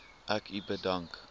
ek u bedank